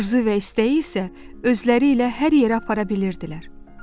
Arzu və istəyi isə özləri ilə hər yerə apara bilirdilər.